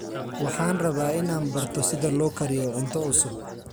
Waxaan rabaa inaan barto sida loo kariyo cunto cusub.